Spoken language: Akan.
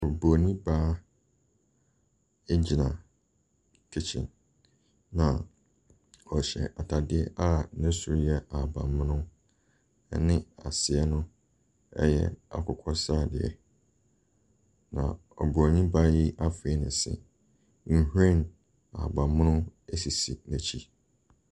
Ɔbronin baa agyina kitchen na ɔhyɛ ataadeɛ a no soro yɛ ahabanmono na n’ase yɛ akokɔsradeɛ. Na ɔbronin baa yi afee ne se, nhwiren ahabanmono asisi n’akyi.